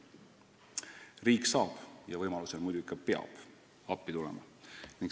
Riik saab appi tulla ja kui võimalik, siis ta ka tuleb appi.